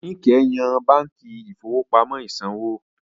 Níkẹ̀ yan báǹkì ìfowópamọ́ ìsanwó.